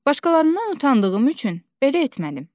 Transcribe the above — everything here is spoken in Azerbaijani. Başqalarından utandığım üçün belə etmədim.